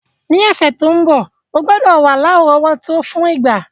Ni òsẹ̀ to n bo, o gbúdọ̀ wa lárọ̀wọ́tó fún ìgbá...